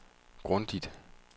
grundigt